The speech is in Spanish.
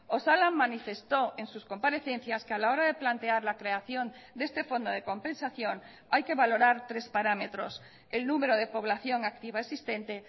osalan manifestó en sus comparecencias que a la hora de plantear la creación de este fondo de compensación hay que valorar tres parámetros el número de población activa existente